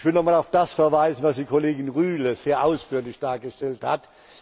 Ich will noch einmal auf das verweisen, was die Kollegin Rühle sehr ausführlich dargestellt hat.